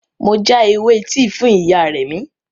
Mo já ewé tíì fún ìyá Remi